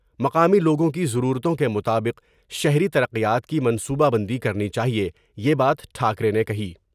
مقامی لوگوں کی ضرورتوں کے مطابق شہری ترقیات کی منصوبہ بندی کرنی چاہئے یہ بات ٹھا کرے نے کہی ۔